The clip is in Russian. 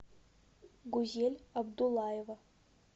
гузель абдулаева